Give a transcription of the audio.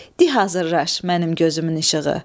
Di hazırlaş mənim gözümün işığı.